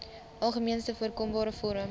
algemeenste voorkombare vorm